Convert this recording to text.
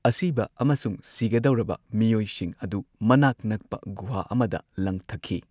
ꯑꯁꯤꯕ ꯑꯃꯁꯨꯡ ꯁꯤꯒꯗꯧꯔꯕ ꯃꯤꯑꯣꯏꯁꯤꯡ ꯑꯗꯨ ꯃꯅꯥꯛ ꯅꯛꯄ ꯒꯨꯍꯥ ꯑꯃꯗ ꯂꯪꯊꯈꯤ꯫